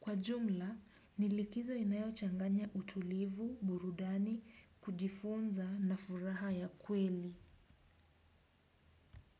Kwa jumla, ni likizo inayo changanya utulivu, burudani, kujifunza na furaha ya kweli.